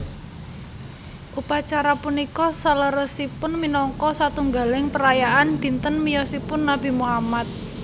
Upacara punika saleresipun minangka satunggaling perayaan dinten miyosipun Nabi Muhammad